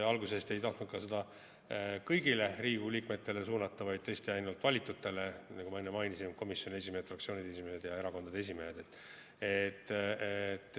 Alguses te ei tahtnud seda ka kõigile Riigikogu liikmetele suunata, vaid tõesti ainult valitutele, nagu ma enne mainisin: komisjonide esimehed, fraktsioonide esimehed ja erakondade esimehed.